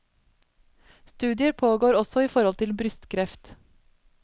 Studier pågår også i forhold til brystkreft.